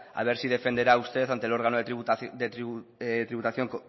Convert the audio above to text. a ver si defenderá usted ante el órgano de tributación